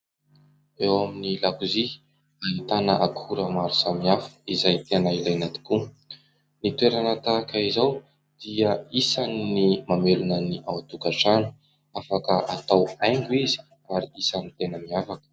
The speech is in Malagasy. Eo amin'ny lakozia ahitana akora maro samihafa izay tena ilaina tokoa. Ny toerana tahaka izao dia isan'ny mamelona ny ao an-tokantrano ; afaka atao haingo izy ary isan'ny tena miavaka.